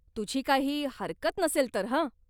तुझी काही हरकत नसेल तर हं.